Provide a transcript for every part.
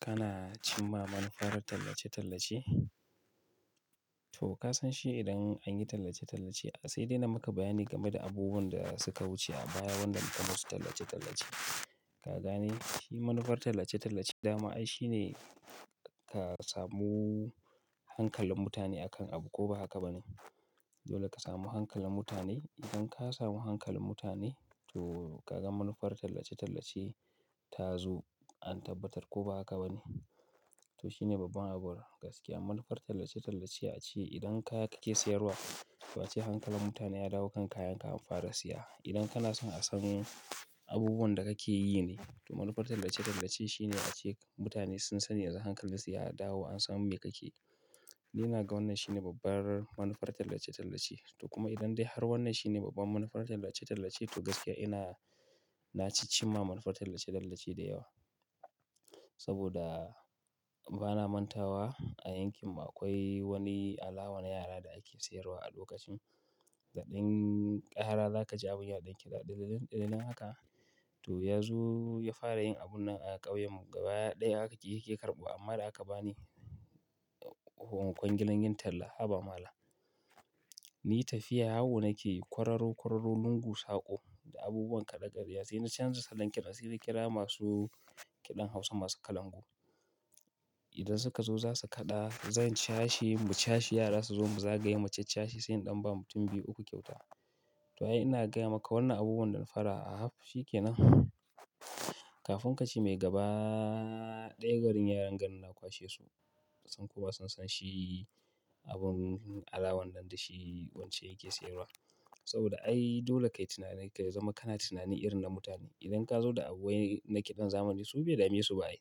Kana cimma manufar tallace-tallace? To ka san shi idan an yi tallace-tallace, sai dai na maka bayani game da abubuwan da suka wuce a baya wanda muka masu tallace-tallace. Ka gane shi manufar tallace-tallace dama ai shine ka samu hankalin mutane akan abu ko ba haka ba ne? Dole ka samu hankalin mutane. Idan ka samu hankalin mutane to ka ga manufar tallace-tallace ta zo an tabbatar ko ba haka ba ne. To shine babban abu gaskiya. Manufar tallace-tallace ace idan kaya kake sayarwa, to ace hankalin mutane ya dawo kan kayanka an fara siya. Idan kana son a san abubuwan da kake yi ne, to manufar tallace-tallace shine ace mutane sun sani yanzu hankalin siya ya dawo an san me kake. Ni na ga wannan shine babbar manufar tallace-tallace. To kuma idan dai har wannan shine babban manufar tallace-tallace to gaskiya ina-- na ci cimma manufar tallace-tallace da yawa. Saboda bana mantawa a yankin mu akwai wani alawa na yara da ake sayarwa a dokacin. Da ɗin ƙara za ka ji abun ya ɗan kiɗa ɗililin ɗililin haka to ya zo ya fara yin abun nan a ƙauyen mu gaba ɗaya haka yaƙi karɓuwa amma da aka ba ni kwangilan yin talla. Haba malan. Ni tafiya yawo nake kwararo kwararo lungu saƙo da abubuwan kaɗe-kaɗiya sai na canza salon ƙira, sai na kira masu kiɗan Hausa masu kalangu. Idan suka zo za su kaɗa, zan cashi mu cashi yara su zo mu za gayi macen cashi sai in ɗan ba mutum biyu uku kyauta. To ai ina gaya maka wannan abubuwan don fara a haf shi ke nan. Kafin kaci mai gaba ɗaya garin yaran garin na kwashe su. Ba san ko ba zan san shi abun alawan nan da shi wance yake sayarwa. Saboda ai dole kai tunanin kai zama kana tunanin irin na mutane. Idan ka zo da abubuwai na kiɗan zamani su bai dame su ba ai.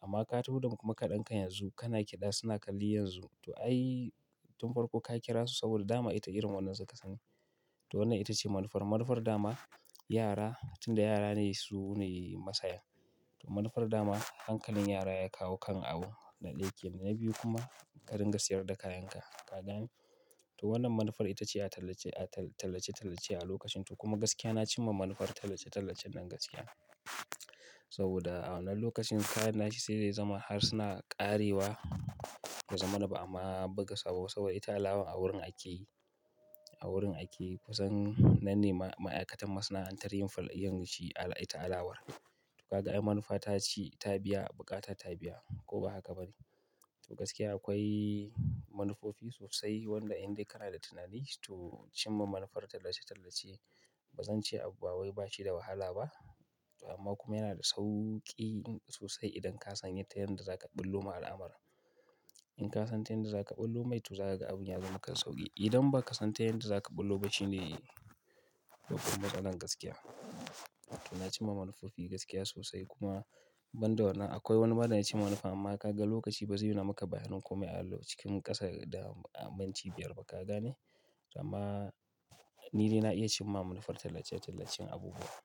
Amma ka ɗuba kuma ka ɗanka yanzu kana kiɗa suna kalli yanzu. To ai tun farko ka kira su saboda dama ita irin wannan suka sani. To wannan ita ce manufar. Manufar dama yara tunda yara ne su ne masaya. Manufar dama hankalin yara ya kawo kan abu na ɗaya kenan. Na biyu kuma ƙarin gaskiyar da kayanka. Ka gane? To wannan manufar ita ce a tallace a tallace-tallace a lokacin to kuma gaskiya na cimma manufar tallace-tallacen nan gaskiya. Saboda a wannan lokacin kai na shi sai dai zama harsuna ƙarewa ba zaman ba amma ba gaskiya saboda ita alawa a wurin ake yi. A wurin ake kusan nan ne ma'aikatan masana'antar yin fal ayi shi al'ai ta alawar. To ka ga ai manufa ta ci ta biya buƙata ta biya ko ba haka ba ne? To gaskiya akwai manufofi sosai wanda in dai kana da tunani to cimma manufar tallace-tallace ba zan ce abuwawai ba shi da wahala ba. Amma kuma yana da sauki sosai idan ka san yadda za ka ɓullo ma al'amara. In ka san tayin da za ka ɓullo mai to za ka ga abun ya zama maka sauƙi. Idan ba ka san tayin da za ka ɓullo ba shine babban matsalar gaskiya. To na cimma manufofi gaskiya sosai kuma ban da wannan akwai wani bada na ci manufa amma ka ga lokaci ba sai na maka bayanin komai allo cikin ƙasa da aminci biyar ba ka gane? Amma ni dai na iya cimma manufar tallace-tallacen abubuwa.